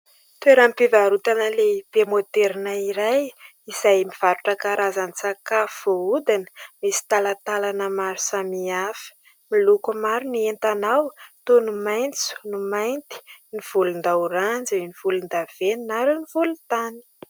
Toeram-pivarotana lehibe môderina iray, izay mivarotra karazan-tsakafo voahodina. Misy talantalana maro samihafa ; miloko maro ny entana ao, toy ny maitso, ny mainty, ny volondaoranjy, ny volondavenona ary ny volontany.